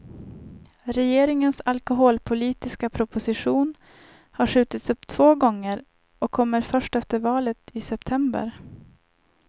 Regeringens alkoholpolitiska proposition har skjutits upp två gånger och kommer först efter valet i september.